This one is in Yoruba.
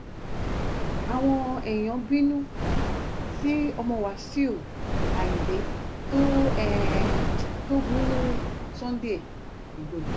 àwọn um èèyàn bínú sí ọmọ wáṣíù ayíǹde tó ń um bú sunday igbodò